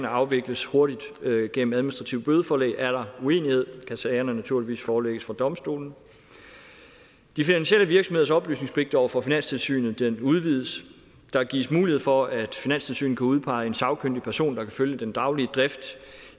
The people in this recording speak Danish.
afvikles hurtigt gennem administrative bødeforelæg er der uenighed kan sagen naturligvis forelægges for domstolene de finansielle virksomheders oplysningspligt over for finanstilsynet udvides der gives mulighed for at finanstilsynet kan udpege en sagkyndig person der kan følge den daglige drift